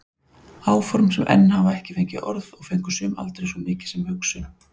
Áform sem enn hafa ekki fengið orð og fengu sum aldrei svo mikið sem hugsun.